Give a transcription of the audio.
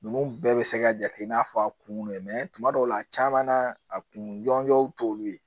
Ninnu bɛɛ bɛ se ka jate i n'a fɔ a kun donnen tuma dɔw la caman na a kun jɔnjɔn t'olu ye